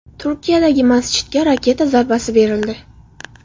Turkiyadagi masjidga raketa zarbasi berildi.